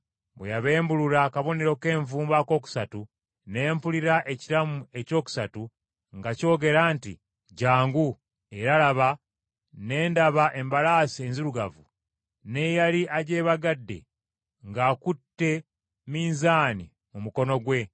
Bwe yabembulula akabonero k’envumbo akokusatu ne mpulira ekiramu ekyokusatu nga kyogera nti, “Jjangu!” Era laba, ne ndaba embalaasi enzirugavu n’eyali agyebagadde ng’akutte minzaani mu mukono gwe.